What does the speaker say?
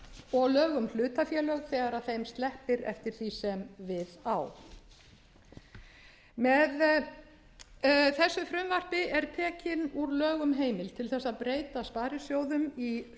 og lög um hlutafélög þegar þeim sleppir eftir því sem við á með þessu frumvarpi er tekin úr lögum heimild til þess að breyta sparisjóðum í